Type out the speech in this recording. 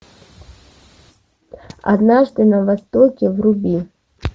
однажды на востоке вруби